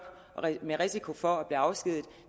med risiko for at blive afskediget